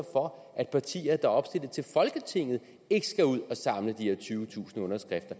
for at partier der er opstillet til folketinget ikke skal ud og samle de her tyvetusind underskrifter